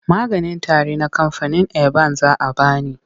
Maganin tari na kamfanin eban za a ba ni.